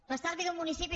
l’estalvi d’un municipi